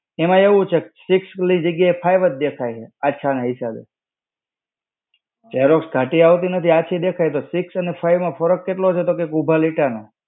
એમાં એવું છે six ની જગ્યા એ five જ દેખાય છે આછા ના હિસાબે. Xerox ઘાટી આવતી નથી આછી દેખાય તો six અને five માં ફરક કેટલો છે તો કે ઉભા લીટા નો.